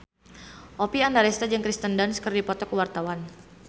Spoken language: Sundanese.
Oppie Andaresta jeung Kirsten Dunst keur dipoto ku wartawan